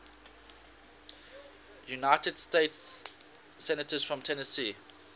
united states senators from tennessee